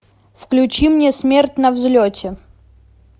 включи мне смерть на взлете